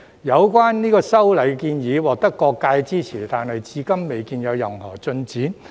有關修例建議獲得各界支持，但至今未見任何進展。